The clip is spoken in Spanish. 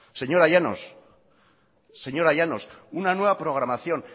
señora llanos señora llanos una nueva programación